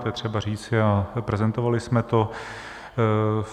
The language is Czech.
To je třeba říci a prezentovali jsme to.